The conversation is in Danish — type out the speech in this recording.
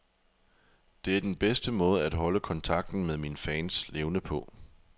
Det er den bedste måde at holde kontakten med mine fans levende på.